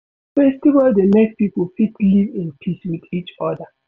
Festival dey make pipo fit live in peace with each oda